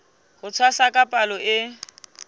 ho tshwasa ka palo e